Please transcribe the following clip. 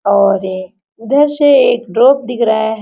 और ए ऊधर से एक ड्राप दिख रहा है।